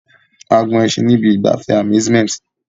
A gun ẹṣin ní ibi ìgbafẹ́ amusemnt